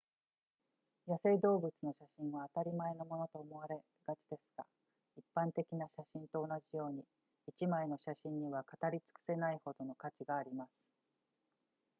野生動物の写真は当たり前のものと思われがちですが一般的な写真と同じように一枚の写真には語りつくせないほどの価値があります